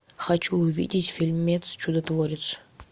хочу увидеть фильмец чудотворец